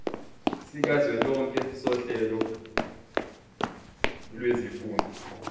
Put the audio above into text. sikazwelonke sohlelo lwezifundo